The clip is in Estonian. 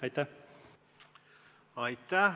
Aitäh!